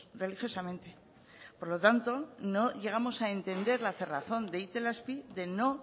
religiosamente por lo tanto no llegamos a entender la cerrazón de itelazpi de no